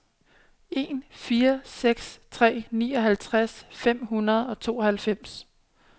en fire seks tre nioghalvtreds fem hundrede og tooghalvfems